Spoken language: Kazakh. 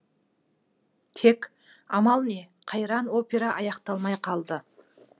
тек амал не қайран опера аяқталмай қалды